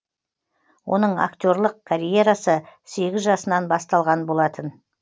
оның актерлық карьерасы сегіз жасынан басталған болатын